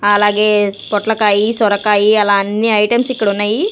అలాగే పొట్లకాయి సొరకాయి అలా అన్ని ఐటమ్స్ ఇక్కడ ఉన్నాయి.